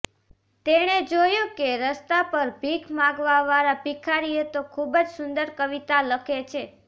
તેણે જોયું કે રસ્તા પર ભીખ માંગવાવાળા ભિખારી તો ખુબ જ સુંદર કવિતા લખે છે